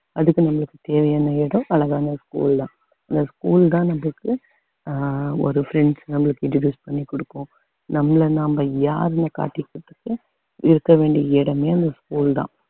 அதுக்கு நம்மளுக்கு தேவையான இடம் அழகான school தான் இந்த school தான் அஹ் நம்மளுக்கு ஒரு friends நம்மளுக்கு introduce பண்ணி கொடுக்கும் நம்மளை நாம யாருன்னு காட்டிக்கிறதுக்கு இருக்க வேண்டிய இடமே அந்த school தான்